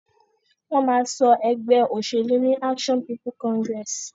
Wón ma so egbé òsèlú ní Action People Congress